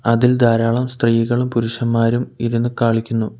അതിൽ ധാരാളം സ്ത്രീകളും പുരുഷന്മാരും ഇരുന്ന് കളിക്കുന്നു.